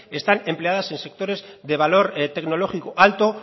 están empleadas en sectores de valor tecnológico alto